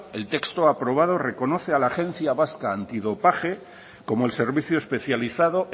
el texto aprobado reconoce a la agencia vasca antidopaje como el servicio especializado